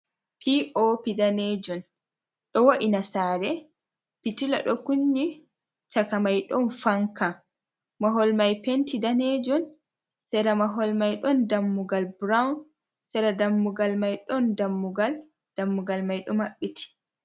Pii´oopi daneejum, ɗo wo’ina saare, pitilla ɗo kunni caka may ɗon fanka, mahol may penti daneejum , sera mahol may ɗon dammugal burawun , sera dammugal may ɗon dammugal. Dammugal may ɗo mabɓiti.